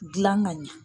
Gilan ka ɲɛ